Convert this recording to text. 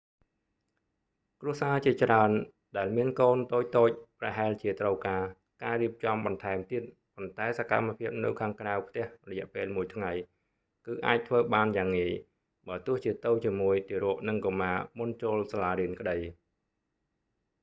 គ្រួសារជាច្រើនដែលមានកូនតូចៗប្រហែលជាត្រូវការ ការរៀបចំបន្ថែមទៀត ប៉ុន្តែសកម្មភាពនៅខាងក្រៅផ្ទះរយៈពេលមួយថ្ងៃ គឺអាចធ្វើបានយ៉ាងងាយ បើទោះជាទៅជាមួយទារក និងកុមារមុនចូលសាលារៀនក្តី